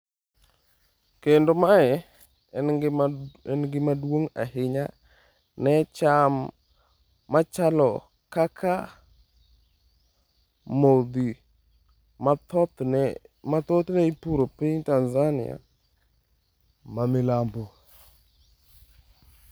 Kendo mae en gima duong’ ahinya ne cham machalo kaka modhi, ma thothne ipuro e piny Tanzania ma milambo.